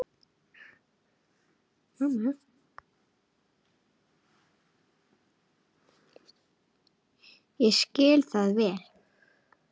Ég skil það vel.